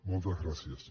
moltes gràcies